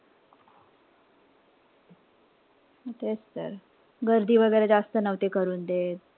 तेच तर. गर्दी वगैरे जास्त नव्हते करून देत.